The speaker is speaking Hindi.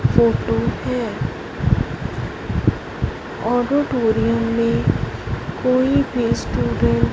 फोटो है ऑडिटोरियम में कोई भी स्टूडेंट --